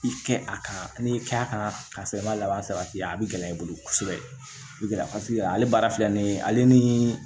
I kɛ a kan ni k'a kan karisa i ma laban sabati a bɛ gɛlɛya i bolo kosɛbɛ i bɛ paseke ale baara filɛ nin ye ale ni